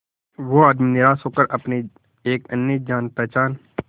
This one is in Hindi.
वो आदमी निराश होकर अपने एक अन्य जान पहचान